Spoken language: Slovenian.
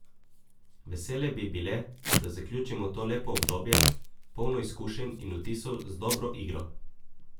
Vesele bi bile, da zaključimo to lepo obdobje, polno izkušenj in vtisov z dobro igro.